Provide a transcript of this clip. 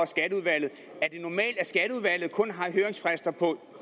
skatteudvalget har høringsfrister på